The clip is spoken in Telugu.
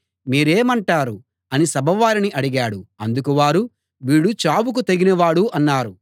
మీరేమంటారు అని సభవారిని అడిగాడు అందుకు వారు వీడు చావుకు తగినవాడు అన్నారు